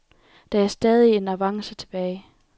Der er stadig en avance tilbage.